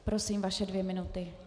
Prosím, vaše dvě minuty.